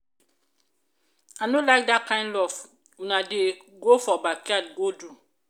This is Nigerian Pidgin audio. i no like dat kin love una dey go for backyard go do.